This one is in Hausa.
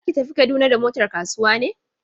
Za ki tafi Kaduna da motar kasuwa ne?